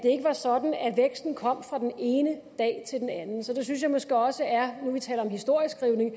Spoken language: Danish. ikke var sådan at væksten kom fra den ene dag til den anden så jeg synes måske også det er nu vi taler om historieskrivning